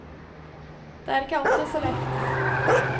Det er ikke alltid så lett.